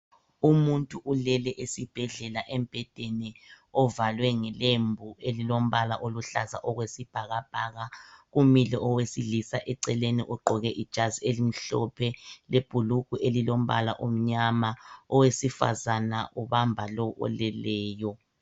Umuntu ulele esibhedlela embhedeni ovalwe ngelembu elilombala oluhlaza okwesibhakabhaka, kumile owesilisa eceleni ogqoke ijazi elimhlophe lebhulugwe elilombala omnyama. Owesifazana ubamba lo oleleyo .